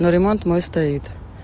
но ремонт мой стоит